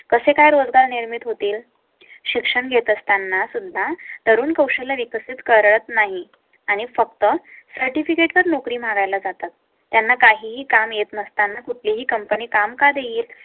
कसे काय रोजगार निर्मित होतील. शिक्षण घेत असताना सुद्धा तरुण कौशल्य विकसित करत नाही आणि फक्त certificate वर नोकरी मारायला जातात. त्यांना काही काम येत नसताना कुठली ही कंपनी कामकाज येत